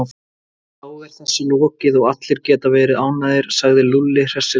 Þá er þessu lokið og allir geta verið ánægðir, sagði Lúlli hressilega.